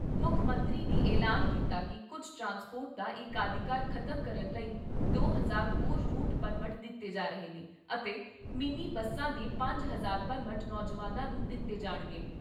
ਮੁੱਖ ਮੰਤਰੀ ਨੇ ਐਲਾਨ ਕੀਤਾ ਕਿ ਕੁੱਝ ਟਰਾਂਸਪੋਰਟ ਦਾ ਏਕਾਧਿਕਾਰ ਖਤਮ ਕਰਨ ਲਈ ਦੋ ਹਜ਼ਾਰਲਹੋਰ ਰੂਟ ਪਰਮਟ ਦਿੱਤੇ ਜਾ ਰਹੇ ਨੇ ਅਤੇ ਮਿੰਨੀ ਬੱਸਾਂ ਦੇ ਪੰਜ ਹਜ਼ਾਰ ਪਰਮਟ ਨੌਜਵਾਨਾਂ ਨੂੰ ਦਿੱਤੇ ਜਾਣਗੇ।